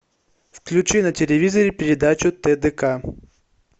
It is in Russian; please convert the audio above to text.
включи на телевизоре передачу тдк